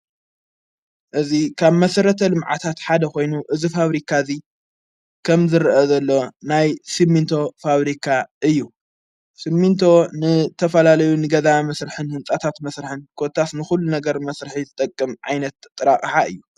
እዝ ካብ መሥረተ ልምዓታት ሓደ ኾይኑ እዝ ፋብሪካ እዙይ ኸም ዝርአ ዘሎ ናይ ስምንቶ ፋብሪካ እዩ ስሚንቶ ንተፈላለዩ ንገዛ ምሥርኅን ሕንጻታት መሥርሕን ጐታስ ንዂሉ ነገር መሥርሒ ዝጠቅም ዓይነት ጥረ ኣቕሓ እዩ።